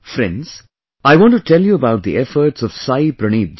Friends, I want to tell you about the efforts of Saayee Praneeth ji